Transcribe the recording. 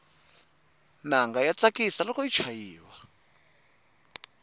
nanga ya tsakisa loko yi chayiwa